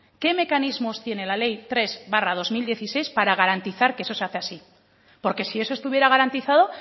qué mecanismos tiene le ley tres barra dos mil dieciséis para garantizar que eso se hace así porque si eso estuviera garantizado